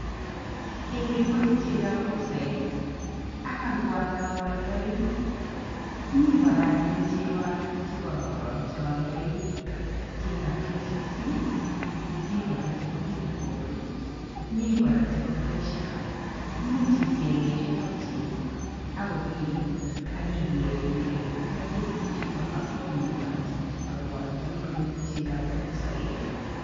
Kele imache chekoab brookside ara ngwaatar aaldai mi kora anyun cheko alak che kararan chealdai chekoab KCC mi kora chebo Kinangop mi kora chebo fresha muuch ichengee chutok cheko akopiilu akiger ile kergei cheechutok ak kwanyiny kora chechutok aaldai kou chegoab brookside